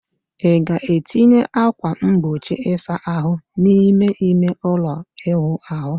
ị ga-etinye ákwà mgbochi ịsa ahụ n'ime ime ụlọ ịwụ ahụ?